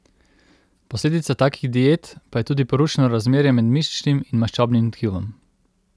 Posledica takih diet pa je tudi porušeno razmerje med mišičnim in maščobnim tkivom.